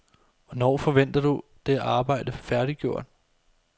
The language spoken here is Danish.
Hvornår forventer du det arbejde færdiggjort?